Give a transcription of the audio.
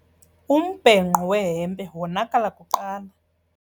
Umbhenqo wehempe wonakala kuqala.